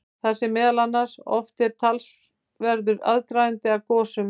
Þar segir meðal annars: Oft er talsverður aðdragandi að gosum.